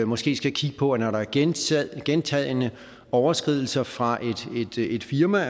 måske skal kigge på at man når der er gentagne gentagne overskridelser fra et firmas